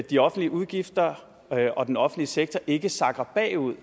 de offentlige udgifter og den offentlige sektor ikke sakker bagud